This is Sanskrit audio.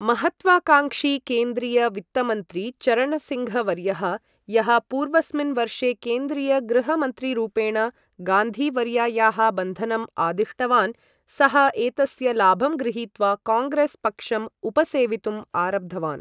महत्वाकांक्षी केन्द्रीय वित्तमन्त्री चरणसिङ्घ् वर्यः, यः पूर्वस्मिन् वर्षे केन्द्रीय गृह मन्त्रीरूपेण गान्धी वर्यायाः बन्धनम् आदिष्टवान्, सः एतस्य लाभं गृहीत्वा काङ्ग्रेस् पक्षम् उपसेवितुम् आरब्धवान्।